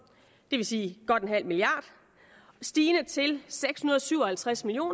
det vil sige godt en halv milliard stigende til seks hundrede og syv og halvtreds million